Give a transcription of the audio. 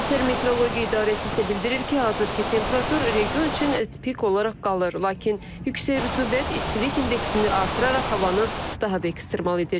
Qətər Metereologiya İdarəsi isə bildirir ki, hazırki temperatur region üçün tipik olaraq qalır, lakin yüksək rütubət istilik indeksini artıraraq havanı daha da ekstremal edir.